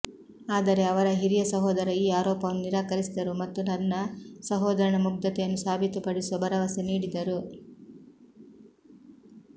ಆದರೆ ಅವರ ಹಿರಿಯ ಸಹೋದರ ಈ ಆರೋಪವನ್ನು ನಿರಾಕರಿಸಿದರು ಮತ್ತು ತನ್ನ ಸಹೋದರನ ಮುಗ್ಧತೆಯನ್ನು ಸಾಬೀತುಪಡಿಸುವ ಭರವಸೆ ನೀಡಿದರು